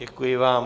Děkuji vám.